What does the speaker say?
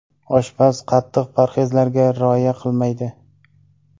Oshpaz qattiq parhezlarga rioya qilmaydi.